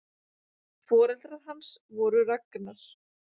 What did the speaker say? Foreldrar hans voru Ragnar